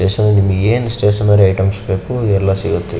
Stationery ಅಂಗಡಿ ಏನು stationery item ಬೇಕು ಎಲ್ಲ ಸಿಗುತ್ತೆ ಇಲ್ಲಿ.